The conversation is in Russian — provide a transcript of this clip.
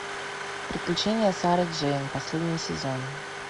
приключения сары джейн последний сезон